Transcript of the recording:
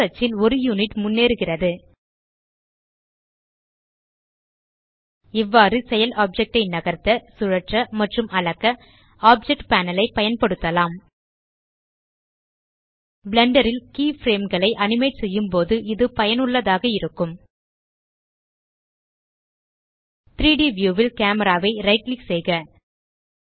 X அச்சில் 1 unit முன்னேறுகிறது இவ்வாறு செயல் ஆப்ஜெக்ட் ஐ நகர்த்த சுழற்ற மற்றும் அளக்க ஆப்ஜெக்ட் பேனல் ஐ பயன்படுத்தலாம் பிளெண்டர் ல் கீஃப்ரேம் களை அனிமேட் செய்யும்போது இது பயனுள்ளதாக இருக்கும் 3ட் வியூ ல் கேமரா ஐ ரைட் கிளிக் செய்க